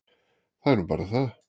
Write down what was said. Það er nú bara það.